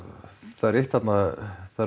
það er eitt þarna það eru